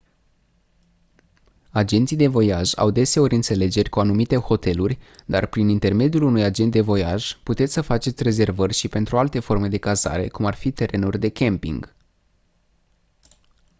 agenții de voiaj au deseori înțelegeri cu anumite hoteluri dar prin intermediul unui agent de voiaj puteți să faceți rezervări și pentru alte forme de cazare cum ar fi terenuri de camping